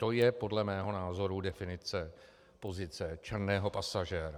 To je, podle mého názoru, definice pozice černého pasažéra.